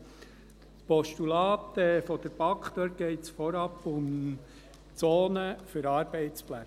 Beim Postulat der BaK geht es vorab um Zonen für Arbeitsplätze.